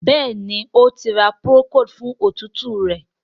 Béèni O tí ra Procold fún òtútù rẹ.